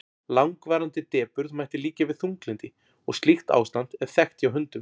langvarandi depurð mætti líkja við þunglyndi og slíkt ástand er þekkt hjá hundum